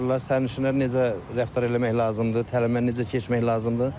Sərnişinlə necə rəftar eləmək lazımdır, təlimə necə keçmək lazımdır?